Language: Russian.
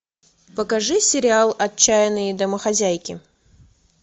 покажи сериал отчаянные домохозяйки